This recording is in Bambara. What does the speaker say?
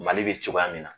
Mali bɛ cogoya min na